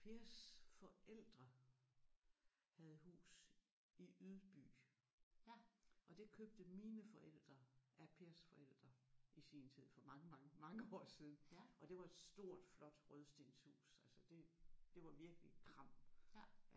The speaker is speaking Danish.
Pers forældre havde hus i Ydby og det købte mine forældre af Pers forældre i sin tid for mange mange mange år siden og det var et stort flot rødstenshus altså det det var virkelig kram